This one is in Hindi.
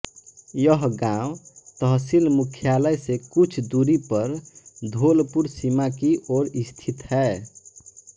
यह गाँव तहसील मुख्यालय से कुछ दूरी पर धोलपुर सीमा की ओर स्थित है